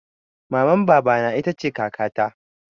Maman baba na ita ce kaka ta